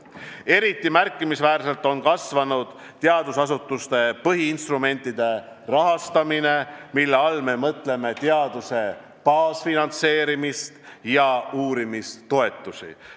Eriti märkimisväärselt on kasvanud teadusasutuste põhiinstrumentide rahastamine, mille all me mõtleme teaduse baasfinantseerimist ja uurimistoetusi.